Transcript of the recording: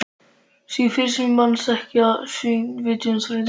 Því fyrr sem menn þekkja sinn vitjunartíma því betra.